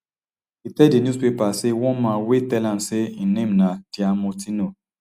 e tell di newspaper say one man wey tell am say im name na diamortino